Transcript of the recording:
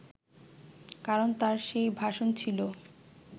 কারণ তার সেই ভাষণ ছিল